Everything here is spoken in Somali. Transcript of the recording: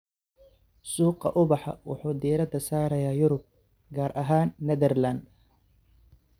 Suuqa ubaxa wuxuu diiradda saarayaa Yurub, gaar ahaan Nederland.